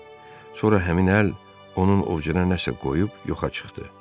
Sonra həmin əl onun ovcuna nəsə qoyub yoxa çıxdı.